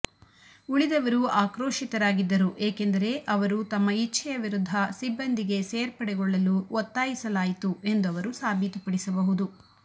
ಉಳಿದವರು ಆಕ್ರೋಶಿತರಾಗಿದ್ದರು ಏಕೆಂದರೆ ಅವರು ತಮ್ಮ ಇಚ್ಛೆಯ ವಿರುದ್ಧ ಸಿಬ್ಬಂದಿಗೆ ಸೇರ್ಪಡೆಗೊಳ್ಳಲು ಒತ್ತಾಯಿಸಲಾಯಿತು ಎಂದು ಅವರು ಸಾಬೀತುಪಡಿಸಬಹುದು